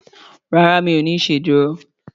ràrá mi'o ní iṣeduro.